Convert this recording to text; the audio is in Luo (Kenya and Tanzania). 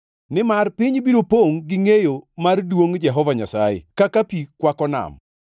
Nimar piny biro pongʼ gi ngʼeyo mar duongʼ Jehova Nyasaye kaka pi kwako nam.